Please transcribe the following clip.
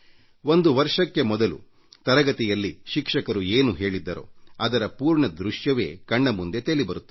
ಒಂದು ವರ್ಷಕ್ಕೆ ಮೊದಲು ತರಗತಿಯಲ್ಲಿ ಶಿಕ್ಷಕರು ಏನು ಹೇಳಿದ್ದರೋ ಅದರ ಪೂರ್ಣ ದೃಶ್ಯವೇ ಕಣ್ಣ ಮುಂದೆ ತೇಲಿಬರುತ್ತದೆ